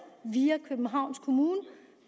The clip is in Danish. via københavns kommune